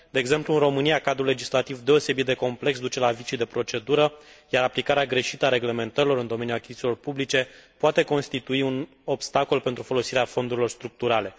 De exemplu, în România, cadrul legislativ deosebit de complex duce la vicii de procedură, iar aplicarea greșită a reglementărilor în domeniul achizițiilor publice poate constitui un obstacol pentru folosirea fondurilor structurale.